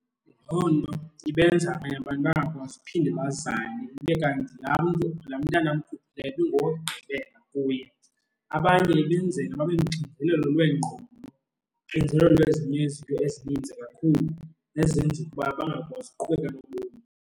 Loo nto ibenza abanye abantu bangakwazi uphinde bazale, kube kanti laa mntu, laa mntana amkhuphileyo ibi ngowokugqibeka kuye. Abanye ibenzela babe noxinzelelo lweengqondo, uxinzelelo lwezinye izinto ezininzi kakhulu ezenza ukuba bangakwazi ukuqhubeka nobomi.